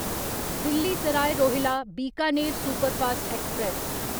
Delhi Sarai Rohilla Bikaner superfast express